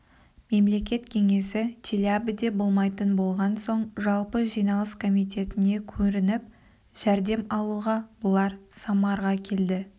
мемлекет кеңесі челябіде болмайтын болған соң жалпы жиналыс комитетіне көрініп жәрдем алуға бұлар самарға келді